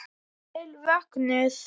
Vel vöknuð!